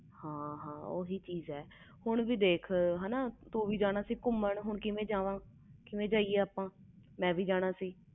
ਹਾਂ ਹਾਂ ਤਾ ਕਰਕੇ ਹੋਇਆ ਮੈਂ ਵੀ ਜਾਣਾ ਸੀ ਘੁੰਮਣ ਤੇ ਤੂੰ ਵੀ ਜਾਣਾ ਸੀ ਘੁੰਮਣ ਹੁਣ ਕੀਦਾ ਜਾਈਏ